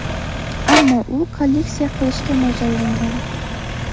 ammo u kolleksiya qilishga mo‘ljallangan.